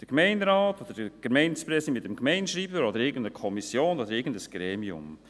Der Gemeinderat, der Gemeindepräsident mit dem Gemeindeschreiber oder irgendeine Kommission oder ein anderes Gremium?